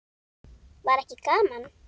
Var ekki gaman?